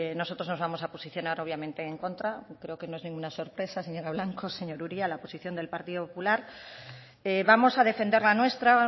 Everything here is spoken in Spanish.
nosotros nos vamos a posicionar obviamente en contra y creo que no es ninguna sorpresa señora blanco señor uria la posición del partido popular vamos a defender la nuestra a